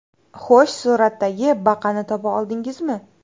Xo‘sh, suratdagi baqani topa oldingizmi?